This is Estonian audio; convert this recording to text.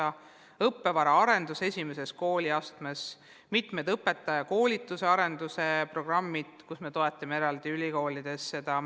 Toimub õppevara arendus esimeses kooliastmes, on mitmed õpetajakoolituse ja arendusprogrammid, mida me eraldi toetame ülikoolides.